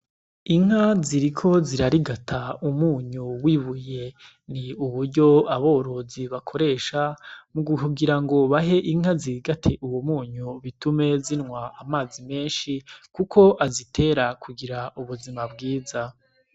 Inka ziriko zirarigata umunyu w'ibuye. Ni uburyo aborozi bakoresha mu guhugira ngo bahe inka zirigate uwo munyu bitume zinwa amazi menshi kuko azitera kugira ubuzima bwiza.